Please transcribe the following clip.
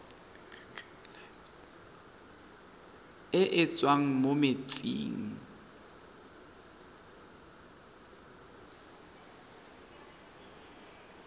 e e tswang mo metsing